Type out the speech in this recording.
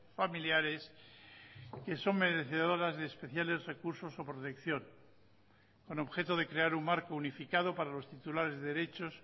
familiares que son merecedoras de especiales recursos o protección con objeto de crear un marco unificado para los titulares de derechos